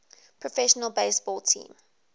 professional baseball team